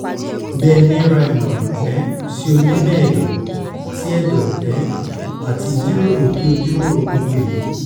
bẹ̃ni ra imọran um si onimọ-ẹdọ ti ẹdọ um ati jiroro ki o jiroro gbogbo eyi